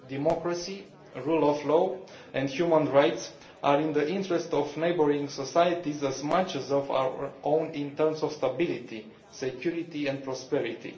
Democracy, the rule of law and human rights are in the interest of neighbouring societies as much as our own in terms of stability, security and prosperity.